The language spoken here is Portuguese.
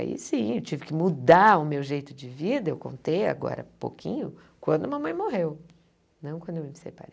Aí, sim, eu tive que mudar o meu jeito de vida, eu contei agora um pouquinho, quando a mamãe morreu, não quando eu me separei.